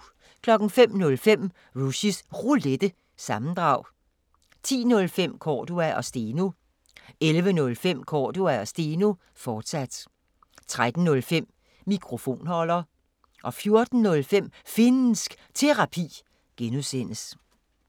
05:05: Rushys Roulette – sammendrag 10:05: Cordua & Steno 11:05: Cordua & Steno, fortsat 13:05: Mikrofonholder 14:05: Finnsk Terapi (G)